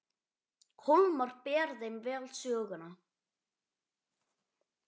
Hólmar ber þeim vel söguna.